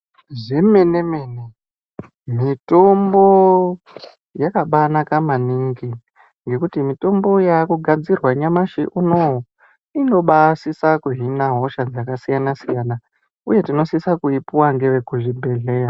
Zvemene-mene mitombo yakabanaka maningi ngekuti mitombo yakugadzirwa nyamashi uno uyu. Inobasisa kuhina hosha dzakasiyana-siyana, uye tinosisa kuipuva ngeve kuzvibhedhleya.